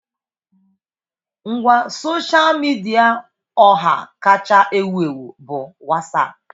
Ngwa sosha midia ọha kacha ewu ewu bụ Wasapu.